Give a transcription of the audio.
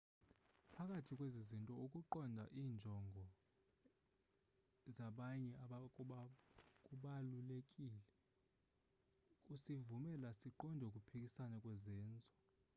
phakathi kwezi zinto ukuqonda iinjongo zabanye kubalulekile kusivumela siqonde ukuphikisana kwezenzo